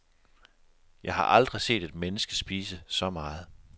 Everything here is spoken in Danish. Jeg har aldrig set et menneske spise så meget.